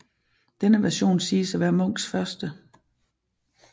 Denne version siges at være Munchs første